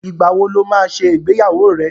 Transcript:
Ìgbà wo lo máa ṣe ìgbéyàwó rẹ?